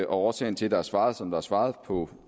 årsagen til at der er svaret som der er svaret på